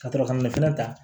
Ka to ka ka nafolo ta